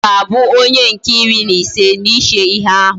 Oga Abu onye nke iri na ise na iche ihe ahu